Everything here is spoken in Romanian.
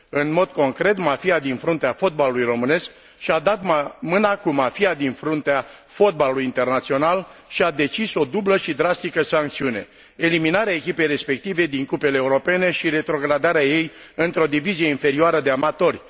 În mod concret mafia din fruntea fotbalului românesc și a dat mâna cu mafia din fruntea fotbalului internațional și a decis o dublă și drastică sancțiune eliminarea echipei respective din cupele europene și retrogradarea ei într o divizie inferioară de amatori.